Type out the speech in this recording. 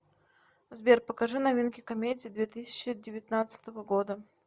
сбер покажи новинки комедий две тысячи девятнадцатого года